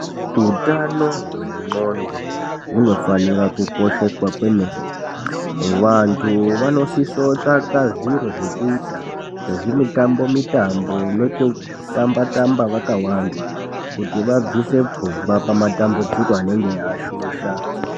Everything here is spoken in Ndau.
Hutano hwendxoko hunofanira kukosheswa kwemene vantu vanosiso kutsvaka zviro zvekuita sezvimitambo mitambo nekutamba tamba vakawanda kuti vabvise pfungwa pamatambudziko anenge ashusha.